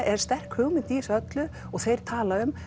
er sterk hugmynd í þessu öllu og þeir tala um